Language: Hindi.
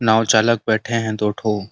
नाव चालक बैठे हैं दो ठो।